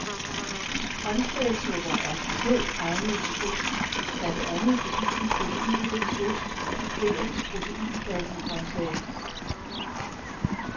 Grønsagssupper er specielt egnede til ost, blandt andet fordi den proteinrige ost supplerer de proteinfattige grønsager.